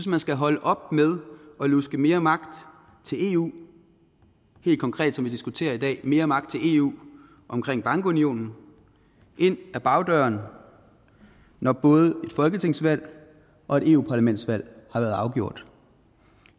man skal holde op med at luske mere magt til eu og helt konkret som vi diskuterer i dag mere magt til eu omkring bankunionen ind ad bagdøren når både et folketingsvalg og et eu parlamentsvalg har været afgjort